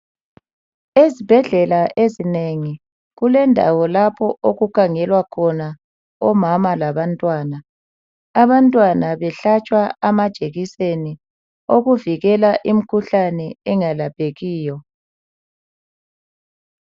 Ezbhedlela ezinengi kulendawo lapho okukhangelwa khona omama labantwana. Abantwana behlatshwa amajekiseni okuvikela imkhuhlane engalaphekiyo.